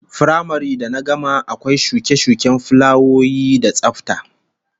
Firamare da na gama akwai shuke-shuken fulawoyi da tsafta